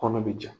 Kɔnɔ be ja